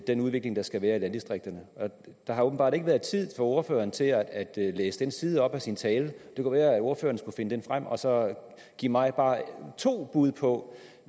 den udvikling der skal være i landdistrikterne der har åbenbart ikke været tid for ordføreren til at læse den side op af sin tale det kunne være at ordføreren skulle finde den frem og give mig bare to bud på